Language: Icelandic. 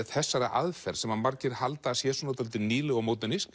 þessari aðferð sem margir halda að sé dálítið nýleg og